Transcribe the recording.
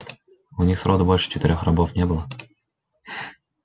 у них сроду больше четырёх рабов не было